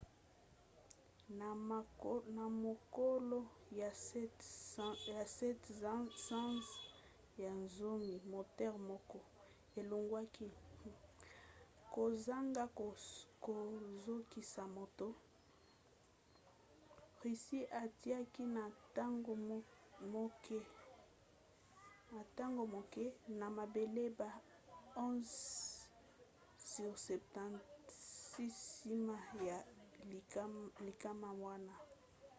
na mokolo ya 7 sanza ya zomi moteur moko elongwaki kozanga kozokisa moto. russie atiaki na ntango moke na mabele ba il-76 nsima ya likama wana